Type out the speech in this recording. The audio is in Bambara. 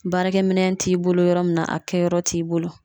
Baarakɛminɛn t'i bolo yɔrɔ min na, a kɛyɔrɔ t'i bolo